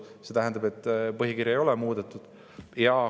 Ja see tähendab, et põhikirja ei ole muudetud.